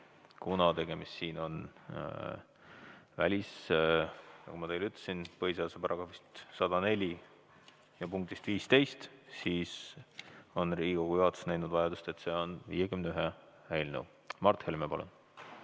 Kuna tegemist on, nagu ma teile ütlesin, põhiseaduse § 104 punktis 15, siis on Riigikogu juhatus näinud vajadust käsitleda seda 51 eelnõuna.